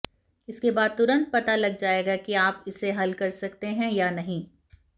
इसके बाद तुरंत पता लग जाएगा कि आप इसे हल कर सकते है या नहीं